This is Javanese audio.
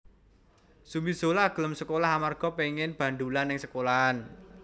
Zumi Zola gelem sekolah amarga pengen bandulan nang sekolahan